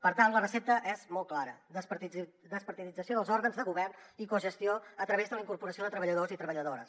per tant la recepta és molt clara despartidització dels òrgans de govern i cogestió a través de la incorporació de treballadors i treballadores